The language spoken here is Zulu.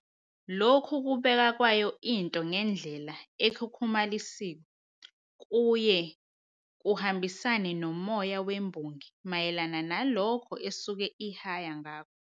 Lokhu kubeka kwayo into ngendlela ekhukhumalisiwe kuye kuhambisane nomoya wembongi mayelana nalokho esuke ihaya ngakho."